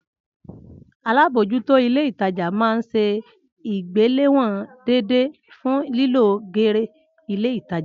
Alábòójútó ilé ìtajà máa ń se ìgbéléwòn déédéé fun lílọ geere ilé ìtajà